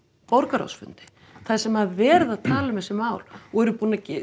borgarráðsfundi þar sem verið að tala um þessi mál og eru búnir að